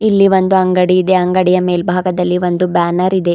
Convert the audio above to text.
ಇಲ್ಲಿ ಒಂದು ಅಂಗಡಿ ಇದೆ ಅಂಗಡಿಯ ಮೇಲ್ಭಾಗದಲ್ಲಿ ಒಂದು ಬ್ಯಾನರ್ ಇದೆ.